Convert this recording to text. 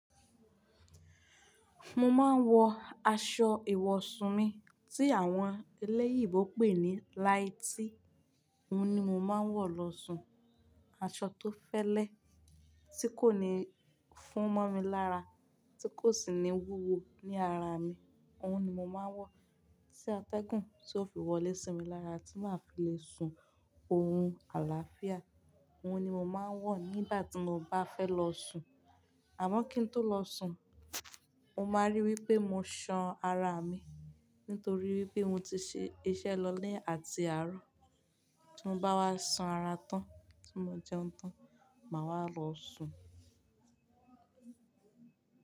Mo máa ń wọ aṣọ ìwọ̀sún mi tí àwọn elẹ́yìíbo pè ní nighty Òhun ni mo máa ń wọ lọ sùn. Aṣọ tó fẹ́lẹ́, tí kò ní fún mọ́ mi lára, tí kò sì ní wúwo ní ara mi. Òhun ni mo máa ń wọ. Tí atẹ́gùn tí ó fi wọlé sí mi lára tí máa fi le sun orun àlàáfíà. Òhun ni mo máa ń wọ nígbà tí mo bá fẹ́ lọ sùn. Àmọ́ kí n tó lọ sùn, o máa rí wípé mo san ara mi nítorí wípé mo ti ṣe iṣẹ́ lọlé àti arọ. Tí mo bá wá san ara tán tí mo jẹun tán, màá wá lọ sùn.